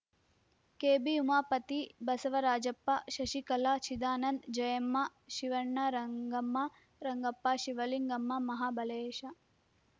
ಕೆಬಿಉಮಾಪತಿ Basavarajappa Shashikala Chidanand Jayamma Shivanna Rangamma Rangappa Shivalingamma Mahabalesha